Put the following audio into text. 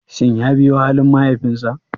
Shin ya biyo halin mahaifinsa?